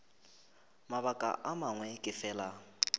mabaka a mangwe ke fela